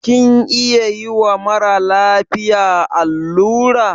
Kin iya yiwa mara lafiya allura?